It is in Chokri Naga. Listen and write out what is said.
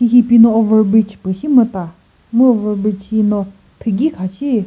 hihipino overbridge pü shimüta mu overbridge hino thigi kha shi.